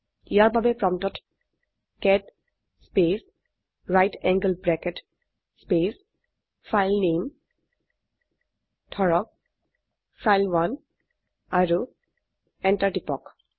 ইয়াৰ বাবে প্ৰম্পটত cat space right angle bracket space ফাইলনামে ধৰক ফাইল1 আৰু এন্টাৰ টিপক